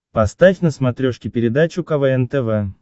поставь на смотрешке передачу квн тв